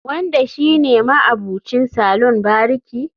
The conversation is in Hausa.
Wanda shi ne ma'abucin salon bariki